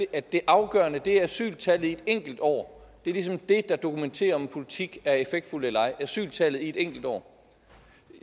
at det afgørende er asyltallet i et enkelt år det er ligesom det der dokumenterer om en politik er effektfuld eller ej asyltallet et enkelt år